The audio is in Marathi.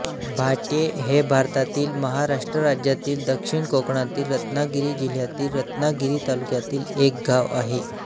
भाट्ये हे भारतातील महाराष्ट्र राज्यातील दक्षिण कोकणातील रत्नागिरी जिल्ह्यातील रत्नागिरी तालुक्यातील एक गाव आहे